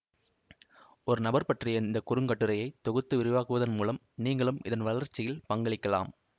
ஒரு நபர் பற்றிய இந்த குறுங்கட்டுரையை தொகுத்து விரிவாக்குவதன் மூலம் நீங்களும் இதன் வளர்ச்சியில் பங்களிக்கலாம்